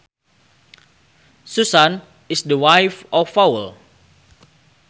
Susan is the wife of Paul